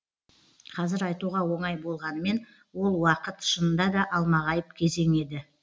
қазір айтуға оңай болғанымен ол уақыт шынында да алмағайып кезең еді